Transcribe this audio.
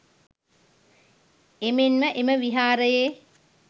එමෙන්ම එම විහාරයේ